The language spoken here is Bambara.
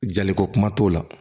Jaliko kuma t'o la